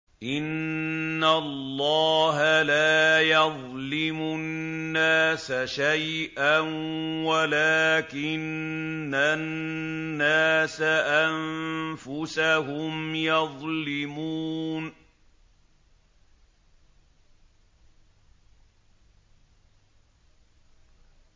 إِنَّ اللَّهَ لَا يَظْلِمُ النَّاسَ شَيْئًا وَلَٰكِنَّ النَّاسَ أَنفُسَهُمْ يَظْلِمُونَ